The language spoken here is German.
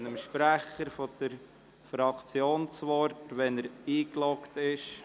Ich erteile dem Sprecher der Fraktion, Grossrat Näf das Wort, sobald er eingeloggt ist.